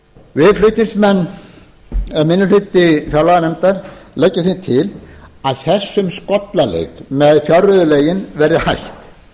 við flutningsmenn eða minni hluti fjárlaganefndar leggjum því til að þessum skollaleik með fjárreiðulögin verði hætt